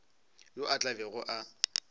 yo a tla bego a